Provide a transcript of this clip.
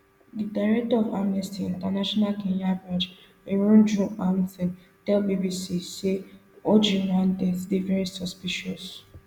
di director of amnesty international kenya branch irungu houghton tell bbc say ojwang death dey very suspicious